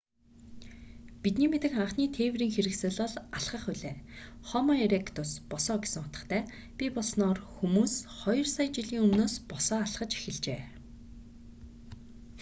бидний мэдэх анхны тээврийн хэрэгсэл бол алхах билээ. хомо эректус босоо гэсэн утгатай бий болсоноор хүмүүс хоёр сая жилийн өмнөөс босоо алхаж эхэлжээ